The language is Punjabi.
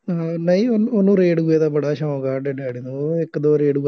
ਅਹ ਨਹੀਂ ਉਹਨੂੰ ਉਹਨੂੰ ਰੇਡੀਉ ਦਾ ਬੜਾ ਸ਼ੌਂਕ ਆ, ਸਾਡੇ ਡੈਡੀ ਨੂੰ. ਉਹਨੂੰ ਇੱਕ ਦੋ ਰੇਡੀਉ